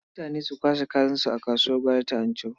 Mutane su kwashe kayansu a kasuwar gwari ta Anchau.